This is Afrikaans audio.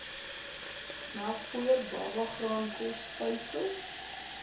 melkpoeier babagraankos stysel